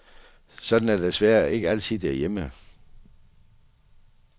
Sådan er det desværre ikke altid derhjemme.